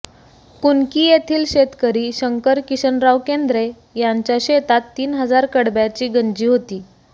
कुनकी येथील शेतकरी शंकर किशनराव केंद्रे यांच्या शेतात तीन हजार कडब्याची गंजी होती